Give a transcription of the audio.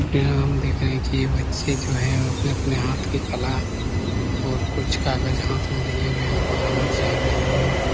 यहाँ हम देख रहे है की यह बच्चें जो है अपने अपने हाथ की कला और कुछ काग़ज हाथ में लिए हुए है और बनाना चाह रहे है। .